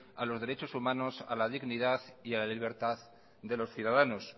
a los derechos humanos a la dignidad y a la libertad de los ciudadanos